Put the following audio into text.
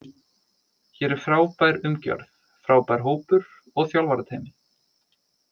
Hér er frábær umgjörð, frábær hópur og þjálfarateymi.